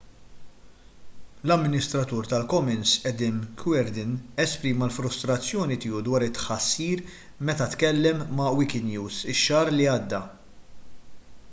l-amministratur tal-commons adam cuerden esprima l-frustrazzjoni tiegħu dwar it-tħassir meta tkellem ma' wikinews ix-xahar li għadda